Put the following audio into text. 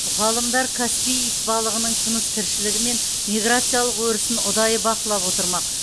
ғалымдар каспий итбалығының тыныс тіршілігі мен миграциялық өрісін ұдайы бақылап отырмақ